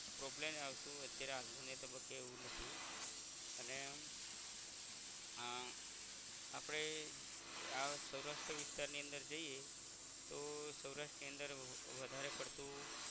problem એ આવતુ અત્યારે હાલ ને તબ્બકે એવું નથી અને આહ આપણે આ સૌરાષ્ટ્ર વિસ્તારની અંદર જઇયે તો સૌરાષ્ટ્ર ની અંદર વધારે પડતું